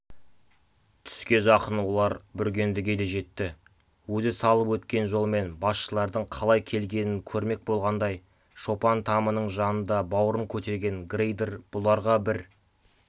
түске жақын олар бүргендіге де жетті өзі салып өткен жолмен басшылардың қалай келгенін көрмек болғандай шопан тамының жанында бауырын көтерген грейдер бұларға бір